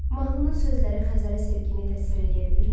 Mahnının sözləri Xəzərə sevgini təsvir eləyə bilirmi?